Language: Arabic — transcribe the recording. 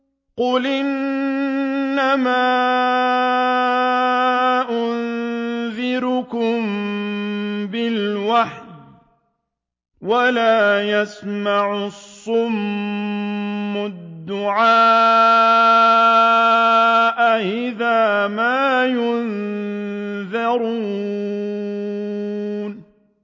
قُلْ إِنَّمَا أُنذِرُكُم بِالْوَحْيِ ۚ وَلَا يَسْمَعُ الصُّمُّ الدُّعَاءَ إِذَا مَا يُنذَرُونَ